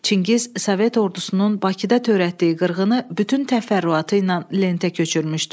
Çingiz Sovet ordusunun Bakıda törətdiyi qırğını bütün təfərrüatı ilə lentə köçürmüşdü.